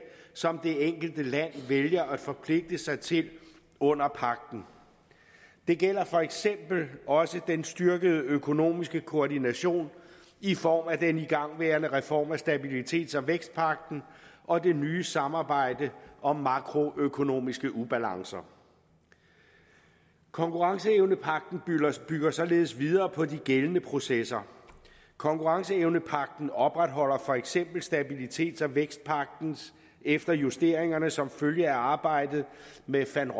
som det enkelte land vælger at forpligte sig til under pagten det gælder for eksempel også den styrkede økonomiske koordination i form af den igangværende reform af stabilitets og vækstpagten og det nye samarbejde om makroøkonomiske ubalancer konkurrenceevnepagten bygger således videre på de gældende processer konkurrenceevnepagten opretholder for eksempel stabilitets og vækstpagten efter justeringer som følge af arbejdet med van